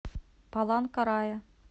паланкарая